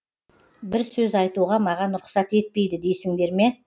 бір сөз айтуға маған рұқсат етпейді дейсіңдер ме